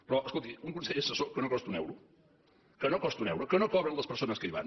però escolti un consell assessor que no costa un euro que no costa un euro que no cobren les persones que hi van